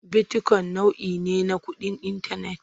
Bitikoyin nau'i ne na kuɗin intanet.